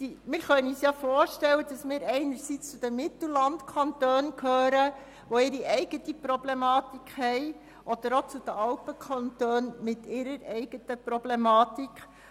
Wir können uns vorstellen, dass wir einerseits zu den Mittellandkantonen gehören, die ihre eigene Problematik haben, oder andererseits auch zu den Alpenkantonen mit der ihnen eigenen Problematik.